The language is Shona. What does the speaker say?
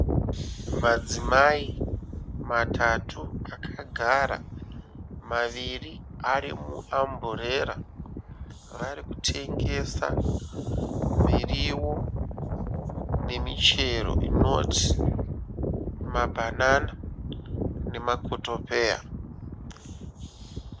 Madzimai matatu akagara maviri ari muamburera. Vari kutengesa miriwo nemichero inoti mabhanana nemakotopeya.